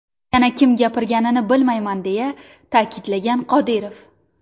Yana kim gapirganini bilmayman, deya ta’kidlagan Qodirov.